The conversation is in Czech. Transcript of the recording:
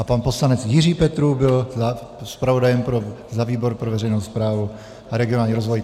A pan poslanec Jiří Petrů byl zpravodajem za výbor pro veřejnou správu a regionální rozvoj.